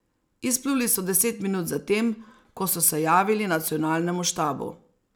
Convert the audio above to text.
Izpluli so deset minut za tem, ko so se javili nacionalnemu štabu.